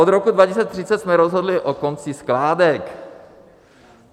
Od roku 2030 jsme rozhodli o konci skládek.